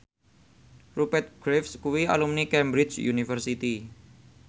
Rupert Graves kuwi alumni Cambridge University